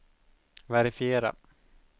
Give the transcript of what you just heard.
verifiera